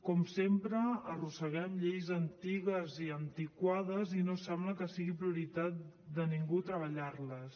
com sempre arrosseguem lleis antigues i antiquades i no sembla que sigui prioritat de ningú treballar les